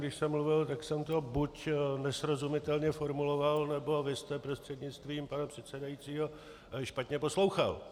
Když jsem mluvil, tak jsem to buď nesrozumitelně formuloval, nebo vy jste, prostřednictvím pana předsedajícího, špatně poslouchal.